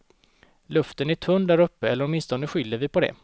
Luften är tunn där uppe eller åtminstone skyller vi på det.